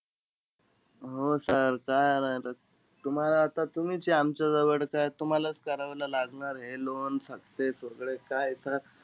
हो sir चालेल. तुम्हाला आता, तुम्हीचे आमच्याजवळ, काय तुम्हालाचं करावयला लागणार हे loan success वैगरे. काय sir,